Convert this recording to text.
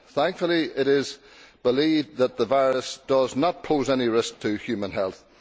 Thankfully it is believed that the virus does not pose any risk to human health.